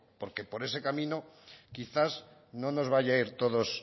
porque por ese camino quizás no nos vaya ir a todos